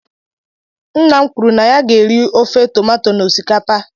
Nna m kwuru na ya ga-eri ofe tomato na osikapa